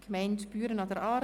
«Gemeinde Büren an der Aare: